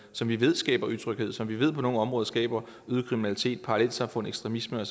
som vi ved skaber utryghed som vi ved på nogle områder skaber øget kriminalitet parallelsamfund ekstremisme